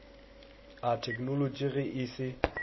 a theknolotši ge e se